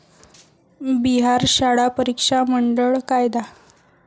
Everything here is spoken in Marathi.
बिहार शाळा परीक्षा मंडळ कायदा